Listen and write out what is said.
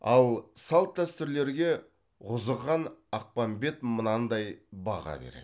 ал салт дәстүрлерге ғұзыхан ақпанбет мынандай баға береді